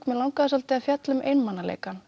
mig langaði svolítið að fjalla um einmanaleikann